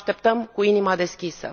Vă așteptăm cu inima deschisă!